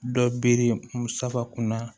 Dɔ bere musakunna